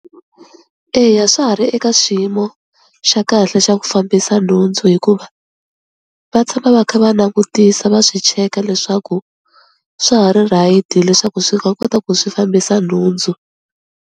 Eya swa ha ri eka xiyimo xa kahle xa ku fambisa nhundzu hikuva va tshama va kha va langutisa va swi cheka leswaku swa ha ri right leswaku swi nga kota ku swi fambisa nhundzu.